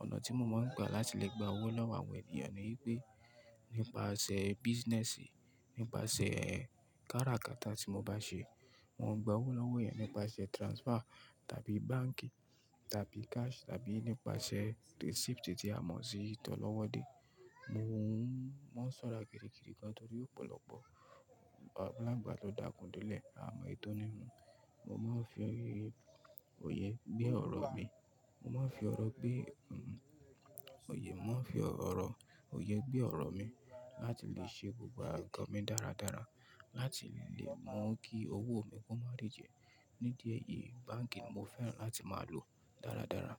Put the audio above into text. Ọ̀nà tí mo máa ń gbà láti lè gba owó lọ́wọ́ àwọn ènìyàn ni í pé nípasẹ̀ business, nípasẹ̀ káràkátà tí mo bá ṣe. Mo ń gba owó lọ́wọ́ èèyàn nípasẹ̀ transfer tàbí báǹkì tàbí cash tàbí nípasẹ̀ receipt tí a mọ̀ sí ti ọlọ́wọ́ dé. Mo máa ń ṣọ́ra gidigidi gan torí ọ̀pọ̀lọpọ̀ aláǹgbá ló dakùn dé’lẹ̀ a mọ̀ ító ní nú. Mo máa ń fi oye gbé ọ̀rọ̀ mi, mo máa ń fi ọ̀rọ̀ gbé, mo yẹ mó ń fi ọ̀rọ̀, òye gbé ọ̀rọ̀ mi láti lè ṣe gbogbo ǹkan mi dáradára láti lè mọ kí owó mi kó má a rí jẹ. Nídí ẹyìí báǹkì n mo fẹ́ràn láti máa lò dáradára.